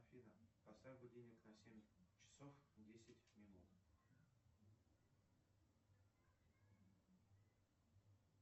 афина поставь будильник на семь часов десять минут